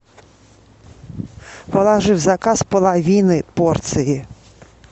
положи в заказ половины порции